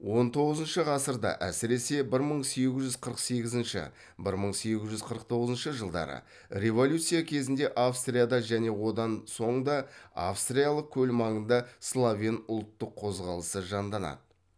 он тоғызыншы ғасырда әсіресе бір мың сегіз жүз қырық сегізінші бір мың сегіз жүз қырық тоғызыншы жылдары революция кезінде австрияда және одан соң да австриялық көл маңында словен ұлттық қозғалысы жанданады